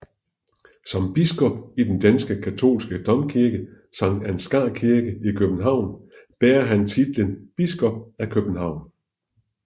Som biskop i den danske katolske domkirke Sankt Ansgars Kirke i København bærer han titlen Biskop af København